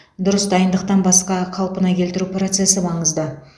дұрыс дайындықтан басқа қалпына келтіру процесі маңызды